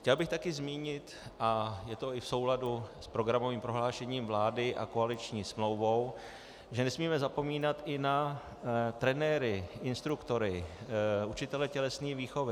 Chtěl bych také zmínit, a je to i v souladu s programovým prohlášením vlády a koaliční smlouvou, že nesmíme zapomínat i na trenéry, instruktory, učitele tělesné výchovy.